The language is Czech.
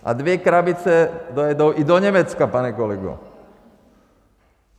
A dvě krabice dojedou i do Německa, pane kolego.